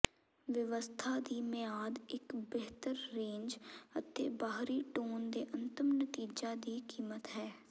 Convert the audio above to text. ਵਿਵਸਥਾ ਦੀ ਮਿਆਦ ਇੱਕ ਬਿਹਤਰ ਰੇਂਜ ਅਤੇ ਬਾਹਰੀ ਟੋਨ ਦੇ ਅੰਤਮ ਨਤੀਜਾ ਦੀ ਕੀਮਤ ਹੈ